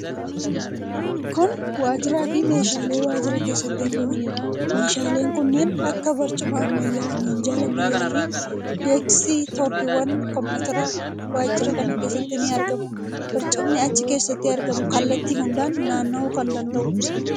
Kun waajjiraa fi meeshaalee wajjira keessatti argamaniidha. Meeshaaleen kanneen akka barcuma ammayyaa, minjaala ammayyaa fi deesk-tooppiiwan kompiwuuteraa waajjira kana keessatti ni argamu. Barcumni achi keessatti argamu kallattii hundaan naanna'uu kan danda'uudha.